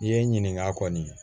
I ye n ɲininka kɔni